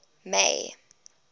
may